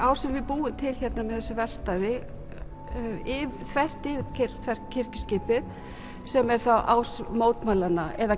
á sem við búum til með þessu verkstæði þvert yfir kirkjuskipið sem er þá ás mótmælanna eða